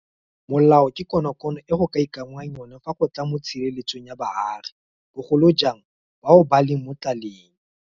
Molao ke konokono e go ka ikanngwang yona fa go tla mo tshireletsong ya baagi, bogolo jang bao ba leng mo tlalelong.